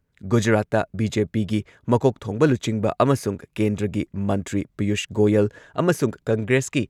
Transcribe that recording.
ꯒꯨꯖꯔꯥꯠꯇ ꯕꯤ.ꯖꯦ.ꯄꯤꯒꯤ ꯃꯀꯣꯛ ꯊꯣꯡꯕ ꯂꯨꯆꯤꯡꯕ ꯑꯃꯁꯨꯡ ꯀꯦꯟꯗ꯭ꯔꯒꯤ ꯃꯟꯇ꯭ꯔꯤ ꯄꯤꯌꯨꯁ ꯒꯣꯌꯜ ꯑꯃꯁꯨꯡ ꯀꯪꯒ꯭ꯔꯦꯁꯀꯤ